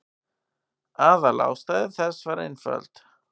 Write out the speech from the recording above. Aðalástæða þess var einföld.